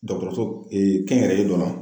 Dɔgɔtɔrɔso kɛnyɛrɛye dɔ la.